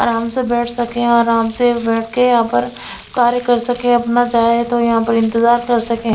आराम से बैठ सकें यहाँ आराम से बैठ के यहाँ पर कार्य कर सकें अपना चाहें तो यहाँ पर इंतज़ार कर सकें।